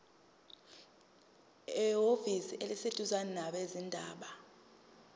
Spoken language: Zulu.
ehhovisi eliseduzane labezindaba